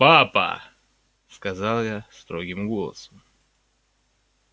папа сказала я строгим голосом